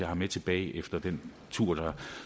har med tilbage fra den tur der